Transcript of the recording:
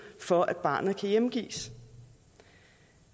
for at barnet kan hjemgives